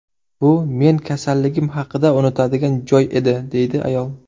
Bu men kasalligim haqida unutadigan joy edi”, deydi ayol.